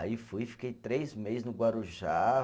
Aí fui, fiquei três meses no Guarujá.